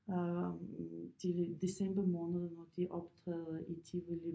Øh til december måned når de optræder i Tivoli